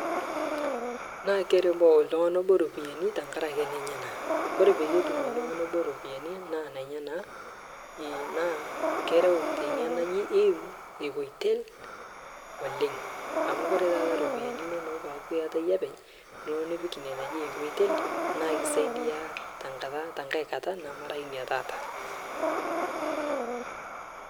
Keiriwaa oltungani obo ropiyiani nkaraki nenyenak. Ore pee etum oltungani obo ropiyiani naa nenyanak naa kereu tena oitoi e equitel oleng amu ore taata ropiyiani inonok pee eeku iata iyie openy nipik equitel naa keisaidia tenkae kata nemera ina taata.